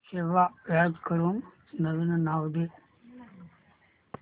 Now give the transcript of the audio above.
save as करून नवीन नाव दे